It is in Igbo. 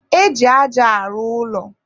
e ji aja arụ ụlọ.